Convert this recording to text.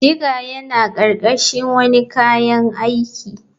Digger yana ƙarƙashin wane kayan aiki.